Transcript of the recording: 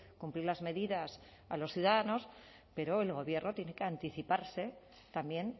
cumplir las medidas a los ciudadanos pero el gobierno tiene que anticiparse también